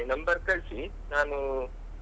Number ಕಳ್ಸಿ ನಾನು.